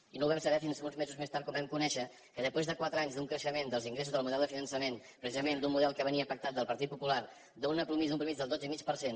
i no ho vam saber fins uns mesos més tard quan vam conèixer que després de quatre anys d’un creixement dels ingressos del model de finançament precisament d’un model que venia pactat del partit popular d’una mitjana del dotze i mig per cent